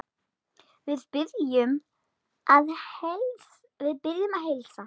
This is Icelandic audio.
Við biðjum að heilsa.